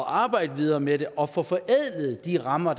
arbejde videre med det og få forædlet de rammer